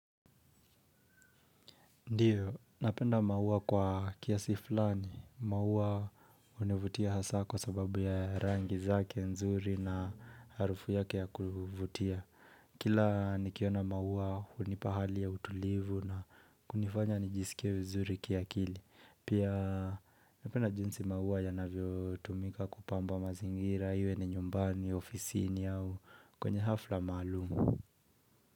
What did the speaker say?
Ndiyo, napenda maua kwa kiasi fulani. Mauwa hunivutia hasa kwa sababu ya rangi zake nzuri na harufu yake ya kuvutia. Kila nikiona mauwa hunipa hali ya utulivu na kunifanya nijisikie vizuri kiakili. Pia napenda jinsi mauwa yanavyo tumika kupamba mazingira. Iwe ni nyumbani, ofisini au kwenye hafla maalumu.